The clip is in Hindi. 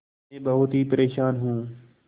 मैं बहुत ही परेशान हूँ